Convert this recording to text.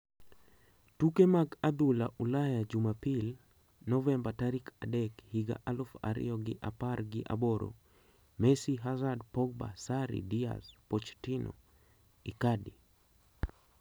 Tuke mag adhula Ulaya Jumapil, Novemba tarik adek, higa aluf ariyo gi apar gi aboro: Messi, Hazard, Pogba, Sarri, Diaz, Pochettino, Icardi